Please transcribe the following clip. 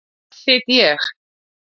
Þar sit ég.